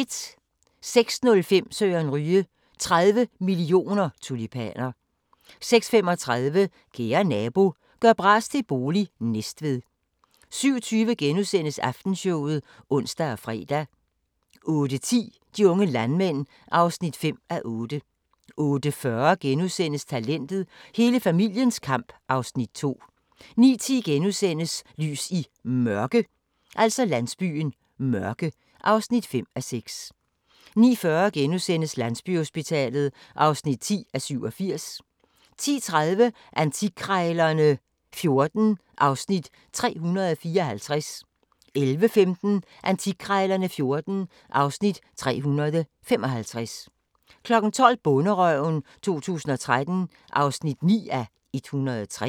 06:05: Søren Ryge: 30 mio. tulipaner 06:35: Kære nabo – gør bras til bolig – Næstved 07:20: Aftenshowet *(ons og fre) 08:10: De unge landmænd (5:8) 08:40: Talentet – hele familiens kamp (Afs. 2)* 09:10: Lys i Mørke (5:6)* 09:40: Landsbyhospitalet (10:87)* 10:30: Antikkrejlerne XIV (Afs. 354) 11:15: Antikkrejlerne XIV (Afs. 355) 12:00: Bonderøven 2013 (9:103)